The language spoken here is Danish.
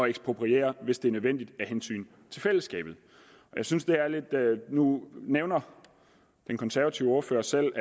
ekspropriere hvis det er nødvendigt af hensyn til fællesskabet nu nævner den konservative ordfører selv